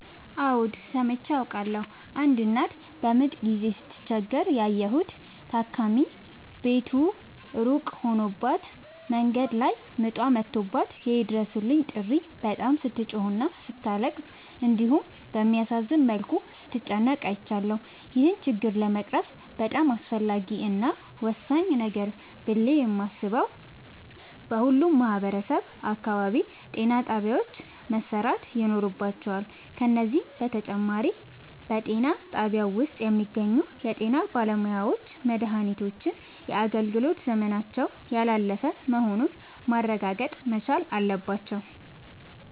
አዎድ ሠምቼ አውቃለሁ። አንድ እናት በምጥ ጊዜ ስትቸገር ያየሁት ታኪም ቤቱ እሩቅ ሆኖባት መንገድ ላይ ምጧ መቶባት የይድረሡልኝ ጥሪ በጣም ስትጮህና ስታለቅስ እንዲሁም በሚያሳዝን መልኩ ስትጨነቅ አይቻለሁ። ይህን ችግር ለመቅረፍ በጣም አስፈላጊ እና ወሳኝ ነገር ነው ብሌ የማሥበው በሁሉም ማህበረሠብ አካባቢ ጤናጣቢያዎች መሠራት ይኖርባቸዋል። ከዚህም በተጨማሪ በጤናጣቢያው ውስጥ የሚገኙ የጤናባለሙያዎች መድሃኒቶች የአገልግሎት ዘመናቸው ያላለፈ መሆኑን ማረጋገጥ መቻል አለባቸው።